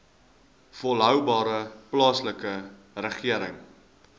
volhoubare plaaslike regering